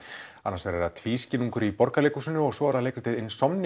annars vegar er það tvískinnungur í Borgarleikhúsinu og svo er það leikritið